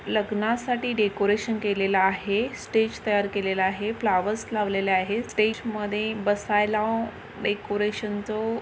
लग्नासाठी डेकोरेशन केलेलं आहे स्टेज तयार केलेलं आहे फ्लॉवर्स लावलेले आहेत स्टेज मध्ये बसायला डेकोरेशन चं--